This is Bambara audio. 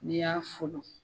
Ne y'a folon.